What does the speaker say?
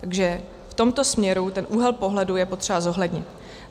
Takže v tomto směru ten úhel pohledu je potřeba zohlednit.